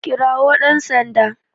Kirawo dan Sanda